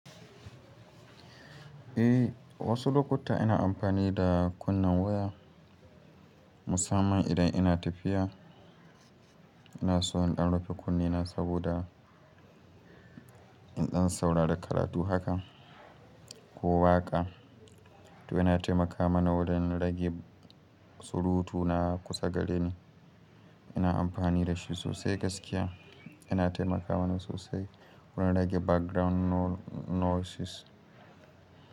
Eh wasu lokuta ina amfani da kunnen waya musamman idan ina tafiya. Ina so in ɗan rufe kunnena saboda in ɗan saurari da karatu haka ko waƙa. To yana taimaka mana wurin rage surutu na kusa gareni. Ina amfani da shi sosai gaskiya. Yana taimaka mana sosai wurin rage background noises.